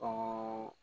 O